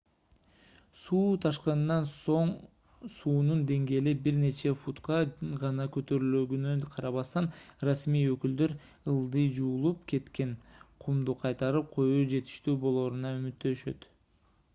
суу ташкынынан соң суунун деңгээли бир нече футка гана көтөрүлөрүнө карабастан расмий өкүлдөр ылдый жуулуп кеткен кумду кайтарып коюу жетиштүү болооруна үмүттөнүшөт